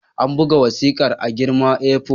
An buga wasikar a girman A4.